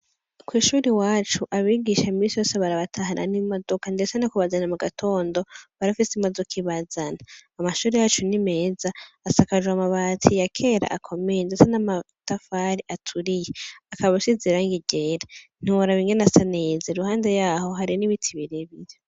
Kw'ishuri iwacu abigisha imisi yose barabatahana n'imodoka, ndetse no kubazana mu gatondo barafise imodoka ibazana, amashuri yacu n'imeza asakajwe amabati ya kera akomeye, ndetse n'amatafari aturiye akaba asize irangi ryera ntiworaba ingene asa neza, iruhande yaho hari n'ibiti birebire.